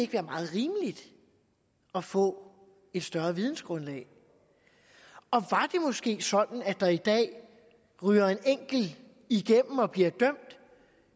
være meget rimeligt at få et større vidensgrundlag og var måske sådan at der i dag ryger en enkelt igennem og bliver dømt